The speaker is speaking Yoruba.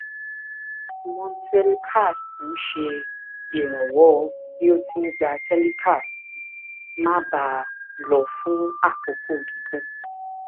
montelucast ń ṣèrànwọ bí o ti ń gba telecast máa bá a lọ fún àkókò gígùn